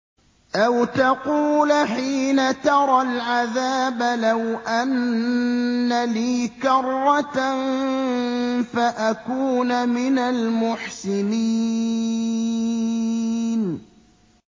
أَوْ تَقُولَ حِينَ تَرَى الْعَذَابَ لَوْ أَنَّ لِي كَرَّةً فَأَكُونَ مِنَ الْمُحْسِنِينَ